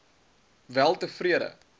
weltevrede